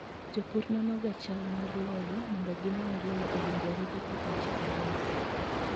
Jopur nono chal mar lowo mondo gine ni lowo owinjore gi pidho cham moko.